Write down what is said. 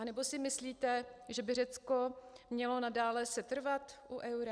Anebo si myslíte, že by Řecko mělo nadále setrvat u eura?